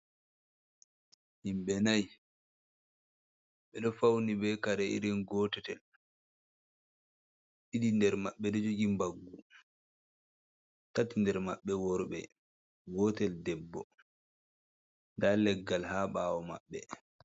Himɓe nai be do fawni bee kare irin gootetel ɗiɗi nder maɓɓe ɗo jogi mbaggu, tati nder maɓɓe worɓe gootel debbo ndaa leggal haa ɓaawo maɓɓe